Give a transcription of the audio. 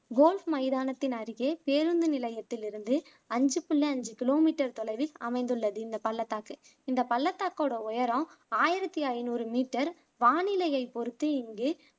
golf மைதானத்தின் அருகே பேருந்து நிலையத்திலிருந்து அஞ்சு புள்ளி அஞ்சு கிலோமீட்டர் தொலைவில் அமைந்துள்ளது இந்த பள்ளத்தாக்கு இந்த பள்ளத்தாக்கோட உயரம் ஆயிரத்தி ஐநூறு மீட்டர் வானிலையை பொருத்து இங்கு